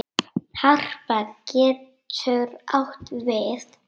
Harpa getur átt við